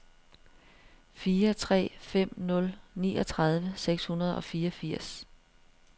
fire tre fem nul niogtredive seks hundrede og fireogfirs